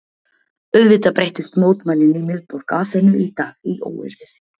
Auðvitað breyttust mótmælin í miðborg Aþenu í dag í óeirðir.